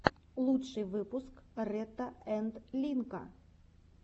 лучший выпуск ретта энд линка